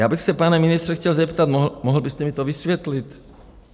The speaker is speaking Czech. Já bych se, pane ministře, chtěl zeptat, mohl byste mi to vysvětlit?